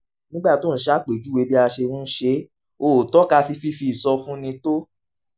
nígbà tó ń ṣàpèjúwe bí a ṣe ń ṣe é ó tọ́ka sí fífi ìsọfúnni tó